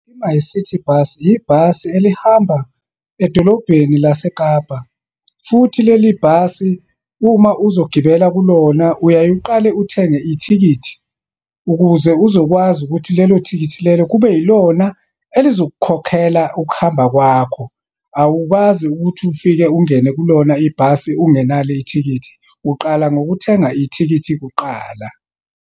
I-MyCiTi bus, yibhasi elihamba edolobheni lase Kapa. Futhi leli bhasi, uma uzogibela kulona uyaye uqale uthenge ithikithi, ukuze uzokwazi ukuthi lelo thikithi lelo kube yilona elizokukhokhela ukuhamba kwakho. Awukwazi ukuthi ufike ungene kulona ibhasi ungenalo ithikithi, uqala ngokuthenga ithikithi kuqala.